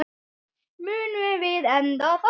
Munum við enda þar?